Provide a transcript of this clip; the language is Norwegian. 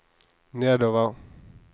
nedover